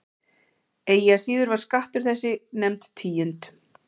Eigi að síður var skattur þessi nefnd tíund.